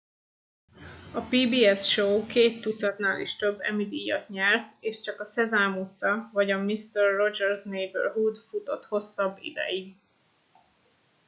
a pbs show két tucatnál is több emmy díjat nyert és csak a szezám utca vagy a mister rogers' neighborhood futott hosszabb ideig